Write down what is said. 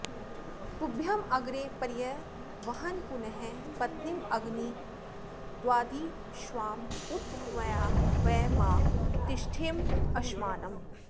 तुभ्य॒मग्रे॒ पर्य॑वह॒न्पुनः॒ पत्नी॑म॒ग्निर॑दा॒द्विश्वा॑ उ॒त त्वया॑ व॒य मा ति॑ष्ठे॒ममश्मा॑नम्